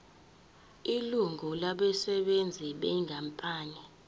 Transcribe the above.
ilungu labasebenzi benkampani